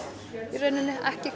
í rauninni ekki